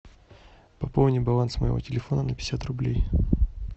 пополни баланс моего телефона на пятьдесят рублей